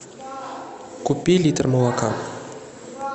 купи литр молока